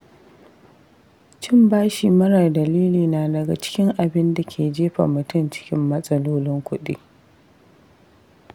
Cin bashi marar dalili na daga cikin abinda ke jefa mutum cikin matsalolin kuɗi.